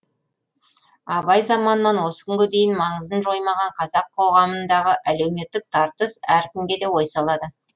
абай заманынан осы күнге дейін маңызын жоймаған қазақ қоғамындағы әлеуметтік тартыс әркімге де ой салады